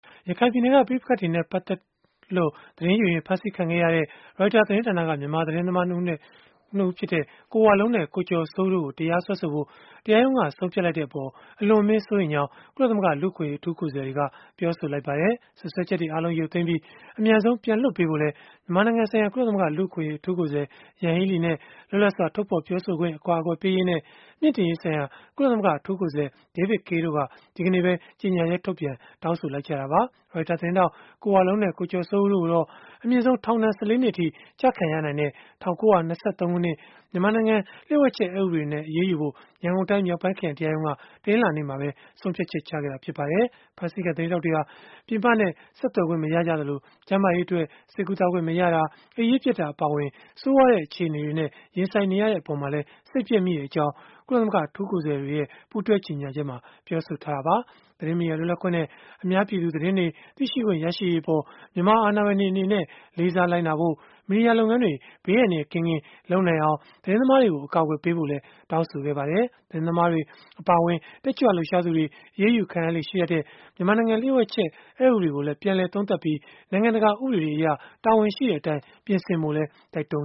ရခိုင်ပြည်နယ်က ပဋိပက္ခတွေနဲ့ ပတ်သက်တွေလို့ သတင်းယူရင်း ဖမ်းဆီးခံခဲ့ရတဲ့ Reuters သတင်းဌာနက မြန်မာသတင်းသမား ၂ ဦးဖြစ်တဲ့ ကိုဝလုံးနဲ့ ကိုကျော်စိုးဦးတို့ကို တရားစွဲဆိုဖို့ တရားရုံးက ဆုံးဖြတ်လိုက်တဲ့အပေါ် အလွန်အမင်းစိုးရိမ်ကြောင်း ကုလသမဂ္ဂ လူ့အခွင့်အရေး အထူးကိုယ်စားလှယ်တွေက ပြောဆိုလိုက်ကြပါတယ်။ စွပ်စွဲချက်တွေအားလုံး ရုပ်သိမ်းပြီး၊ အမြန်ဆုံး ပြန်လွှတ်ပေးဖို့လည်း မြန်မာနိုင်ငံဆိုင်ရာ ကုလသမဂ္ဂ လူ့အခွင့်အရေး အထူးကိုယ်စားလှယ် Yanghee Lee နဲ့ လွတ်လပ်စွာ ထုတ်ဖော် ပြောဆိုခွင့် အကာအကွယ်ပေးရေးနဲ့ မြှင့်တင်ရေးဆိုင်ရာ ကုလသမဂ္ဂ အထူးကိုယ်စားလှယ် David Kaye တို့က ဒီနေ့ပဲ ကြေညာချက်ထုတ်ပြန် တောင်းဆိုခဲ့ကြတာပါ။ Reuters သတင်းထောက် ကိုဝလုံးနဲ့ ကိုကျော်စိုးဦးတို့ကိုတော့ အမြင့်ဆုံးထောင်ဒဏ် ၁၄ နှစ်အထိ ကျခံရနိုင်တဲ့ ၁၉၂၃ ခုနှစ် မြန်မာနိုင်ငံ လျို့ဝှက်ချက် အက်ဥပဒေနဲ့ အရေးယူဖို့ ရန်ကုန်တိုင်းမြောက်ပိုင်းခရိုင်တရားရုံးက တနင်္လာနေ့မှာပဲ ဆုံးဖြတ်ချက် ချခဲ့တာ ဖြစ်ပါတယ်။ ဖမ်းဆီးခံ သတင်းထောက်တွေဟာ ပြင်ပနဲ့ ဆက်သွယ်ခွင့်မရကြသလို၊ ကျန်းမာရေးအတွက် ဆေးကုသခွင့်် မရတာ၊ အိပ်ရေးပျက်တာ အပါအဝင် ဆိုးရွားတဲ့ အခြေအနေတွေနဲ့ ရင်ဆိုင်နေရတဲ့အပေါ်မှာလည်း စိတ်ပျက်မိကြောင်း ကုလသမဂ္ဂ အထူးကိုယ်စားလှယ်တွေက ကြေညာချက်မှာ ပြောဆိုခဲ့ကြတာပါ။ သတင်းမီဒီယာ လွတ်လပ်ခွင့်နဲ့ အများပြည်သူ သတင်းတွေ သိရှိခွင့်ရရေးအပေါ် မြန်မာအာဏာပိုင်တွေ အနေနဲ့ လေးစားလိုက်နာဖို့၊ မီဒီယာလုပ်ငန်းတွေ ဘေးအန္တရာယ်ကင်းကင်း လုပ်နိုင်အောင် သတင်းသမားတွေကို အကာအကွယ်ပေးဖို့လည်း တောင်းဆိုခဲ့ကြပါတယ်။ သတင်းသမားတွေ အပါအဝင် တက်ကြွလှုပ်ရှားသူတွေ အရေးယူခံရလေ့ ရှိတတ်တဲ့ မြန်မာနိုင်ငံ လျို့ဝှက်ချက် အက်ဥပဒေကိုလည်း ပြန်လည်သုံးသပ်ပြီး၊ နိုင်ငံတကာဥပဒေတွေအရ တာဝန်ရှိတဲ့အတိုင်း ပြင်ဆင်ဖို့လည်း တိုက်တွန်း